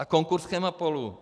A konkurs Chemapolu?